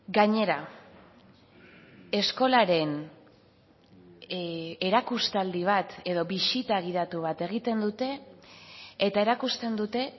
gainera eskolaren erakustaldi bat edo bisita gidatu bat egiten dute eta erakusten dute